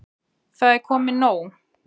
Það er komið nóg.